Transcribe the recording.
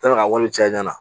Taara ka wari caya ɲɛna